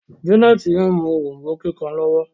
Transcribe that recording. Janet mú òrombó kíkàn lowo.